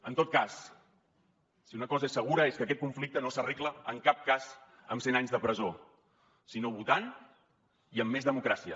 en tot cas si una cosa és segura és que aquest conflicte no s’arregla en cap cas amb cent anys de presó sinó votant i amb més democràcia